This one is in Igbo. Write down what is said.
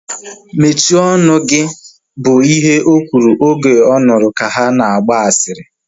Mechie ọnụ gị! Bụ ihe o kwuru oge ọ nụrụ ka ha na-agba asịrị